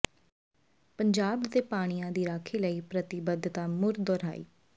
ਪੰਜਾਬ ਦੇ ਪਾਣੀਆਂ ਦੀ ਰਾਖੀ ਲਈ ਪ੍ਰਤੀਬੱਧਤਾ ਮੁੜ ਦਹੁਰਾਈ